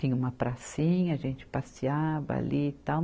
Tinha uma pracinha, a gente passeava ali e tal.